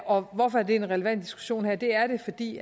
og hvorfor er det en relevant diskussion her det er det fordi